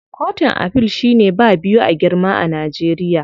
Kotun Afil shine ba biyu a girma a Najeriya.